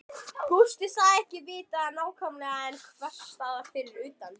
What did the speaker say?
Gústi sagðist ekki vita það nákvæmlega en einhversstaðar fyrir utan